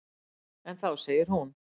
En þá segir hún: